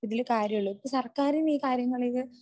ഇതില് കാര്യമുള്ളൂ. ഇപ്പോ സർക്കാരിന് ഈ കാര്യങ്ങളില്